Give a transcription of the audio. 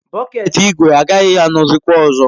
Bọket ígwè agaghị anọzikwa ọzọ.